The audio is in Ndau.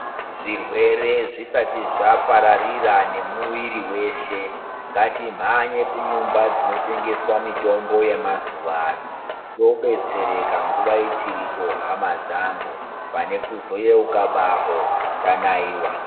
Zvirwere zvisati zvapararira nemwiri weshe ngatimhanye kunyumba dzinotengeswa mitombo yemazuwa ano tobetsereka nguwa ichiripo hama dzangu pane kuzoyeuka bako tanaiwa.